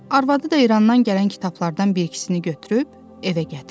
Arvadı da İrandan gələn kitablardan bir-ikisini götürüb evə gətirdi.